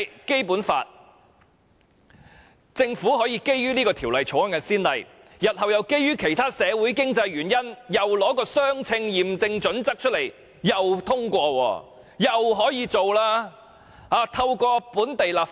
如果政府可以引《條例草案》為先例，日後亦可以基於其他的社會及經濟原因，再次採用相稱驗證準則通過其他法案，透過本地立法引入內地法例。